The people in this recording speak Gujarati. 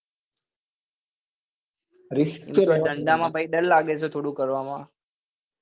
ધંધા માં પહી દર લાગે તો થોડું કરવા માં